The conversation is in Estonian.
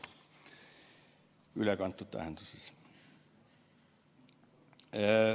Ülekantud tähenduses.